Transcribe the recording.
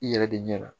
I yɛrɛ de ɲɛna